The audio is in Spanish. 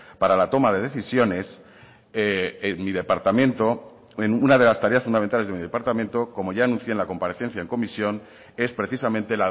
para la toma de decisiones una de las tareas fundamentales de mi departamento como ya anuncié en la comparecencia en comisión es precisamente